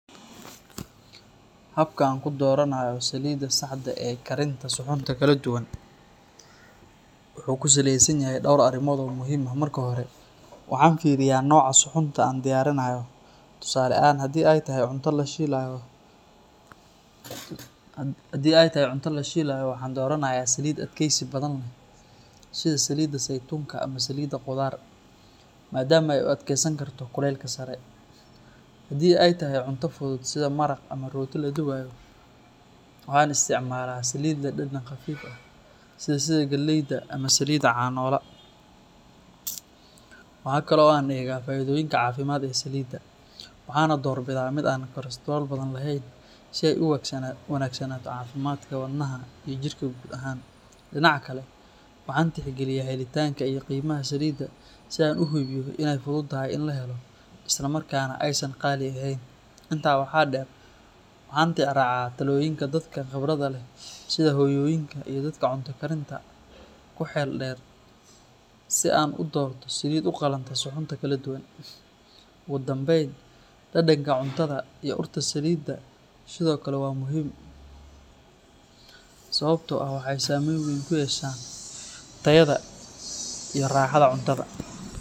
Habka aan ku dooranayo saliidda saxda ah ee karinta suxuunta kala duwan wuxuu ku saleysan yahay dhowr arrimood oo muhiim ah. Marka hore, waxaan fiiriyaa nooca suxuunta aan diyaarinayo, tusaale ahaan haddii ay tahay cunto la shiilayo, waxaan dooranayaa saliid adkeysi badan leh sida saliidda saytuunka ama saliidda qudaar, maadaama ay u adkeysan karto kulaylka sare. Haddii ay tahay cunto fudud sida maraq ama rooti la dubayo, waxaan isticmaalaa saliid leh dhadhan khafiif ah sida saliidda galleyda ama saliidda canola. Waxa kale oo aan eegaa faa’iidooyinka caafimaad ee saliidda, waxaana doorbidaa mid aan kolestarool badan lahayn si ay u wanaagsanaato caafimaadka wadnaha iyo jirka guud ahaan. Dhinaca kale, waxaan tixgeliyaa helitaanka iyo qiimaha saliidda si aan u hubiyo in ay fududahay in la helo islamarkaana aysan qaali ahayn. Intaa waxaa dheer, waxaan tixraacaa talooyinka dadka khibradda leh sida hooyooyinka iyo dadka cunto karinta ku xeel dheer si aan u doorto saliid u qalanta suxuunta kala duwan. Ugu dambeyn, dhadhanka cuntada iyo urta saliidda sidoo kale waa muhiim, sababtoo ah waxay saameyn weyn ku yeeshaan tayada iyo raaxada cuntada.